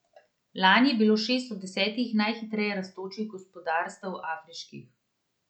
Lani je bilo šest od desetih najhitreje rastočih gospodarstev afriških.